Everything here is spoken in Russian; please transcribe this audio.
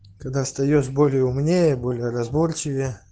когда встаёшь боль и умнее более разборчивее